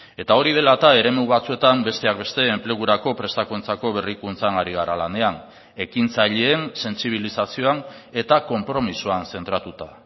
eta hori dela eta eremu batzuetan besteak beste enplegurako prestakuntzako berrikuntzan ari gara lanean ekintzaileen sentsibilizazioan eta konpromisoan zentratuta